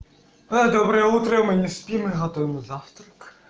доброе утро мы не спим мы готовим завтрак